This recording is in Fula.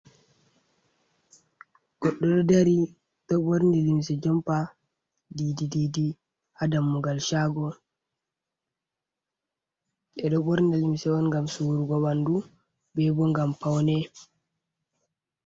Goɗɗo ɗo dari ɗo ɓorni limse jompa didi didi ha dammugal shaago, ɓe ɗo ɓorni limse on ngam suurugo ɓandu be bo ngam paune.